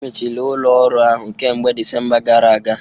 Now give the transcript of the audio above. Emechiri ụlọ ọrụ ahụ kemgbe Disemba afọ gara aga